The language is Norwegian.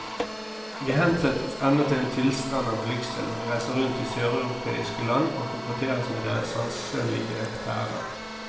Vi hensettes ennå til en tilstand av blygsel når vi reiser rundt i søreuropeiske land og konfronteres med deres sanselige hverdag.